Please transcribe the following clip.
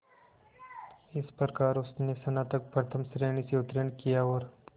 इस प्रकार उसने स्नातक प्रथम श्रेणी से उत्तीर्ण किया और